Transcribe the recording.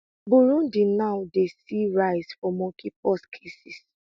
burundi now dey see rise for mpox cases